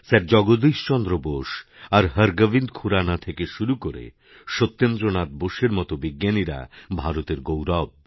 sir Jagadish Chandra Bose আর হরগোবিন্দ খুরানা থেকে শুরুকরে সত্যেন্দ্র নাথ বোসের মত বিজ্ঞানীরা ভারতের গৌরব